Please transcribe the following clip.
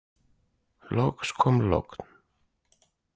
Loks kom logn.